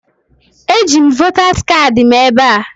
Eji m votas kaadị m ebe a